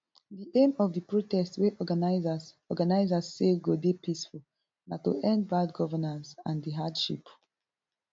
di aim of di protest wey organisers organisers say go dey peaceful na to end bad governance and di hardship